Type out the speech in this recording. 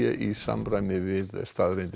í samræmi við staðreyndir